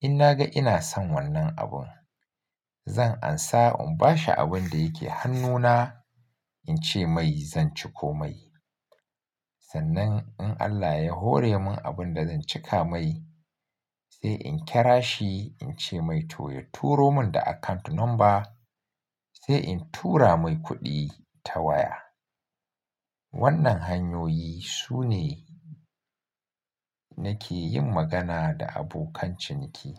in na ga ina son wannan abun zan amsa in bashi abun da yake hannuna in ce mai zan ciko mai. Sannan in Allah ya hore mun abun da zan cika mai sai in kira shi in ce mai to ya turo mun da account number sai in tura mai kuɗi ta waya. Wannan hanyoyi sune nake yin magana da abokan ciniki.